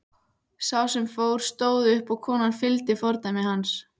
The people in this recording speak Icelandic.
Sá sem fór stóð upp og konan fylgdi fordæmi hans.